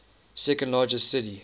second largest city